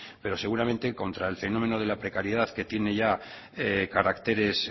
pero seguramente que contra el fenómeno de la precariedad que tiene ya caracteres